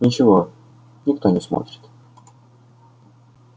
ничего никто не смотрит